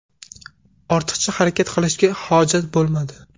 Ortiqcha harakat qilishga hojat bo‘lmadi.